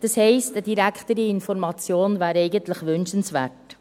Das heisst: Eine direktere Information wäre eigentlich wünschenswert.